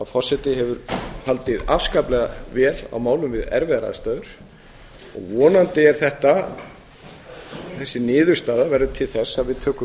forseti hefur haldið afskaplega vel á málum við erfiðar aðstæður vonandi verður þessi niðurstaða til þess að við tökum